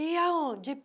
E aonde?